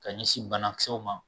Ka ɲɛsin banakisɛw ma